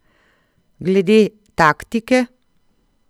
Glede taktike?